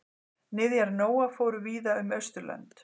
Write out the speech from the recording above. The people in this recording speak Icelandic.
Niðjar Nóa fóru víða um Austurlönd.